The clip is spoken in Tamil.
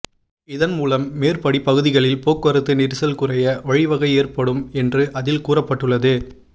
இதன் மூலம் மேற்படி பகுதிகளில் போக்குவரத்து நெரிசல் குறைய வழிவகை ஏற்படும் என்று அதில் கூறப்பட்டுள்ளது